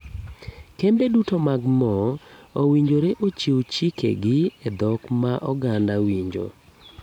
Kembe duto mag moo owinjore ochiw chike gi e dhok ma oganda winjo.